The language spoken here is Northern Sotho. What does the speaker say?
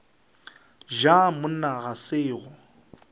ja monna ga se go